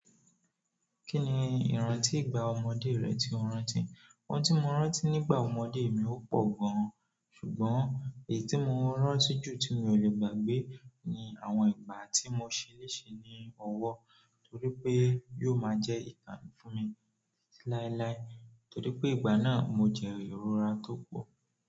Kí ni ìran tí ìgbà ọmọdé rẹ tí o rántí? Oun tí mo rántí nígbà ọmọdé mi ó pọ̀ gan an ṣùgbọ́n èyí tí mo rántí jù tí mi ò le gbàgbé ni àwọn ìgbà tí mo ṣe leṣe ní ọwọ́ nítorí pé yóò máa jẹ́ ìtàn fún mi titi láíláí. Nítorí pé ìgbà náà mo jẹ ìrora tó pọ̀.